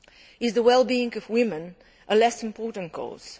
Is the wellbeing of women a less important cause?